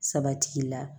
Sabati la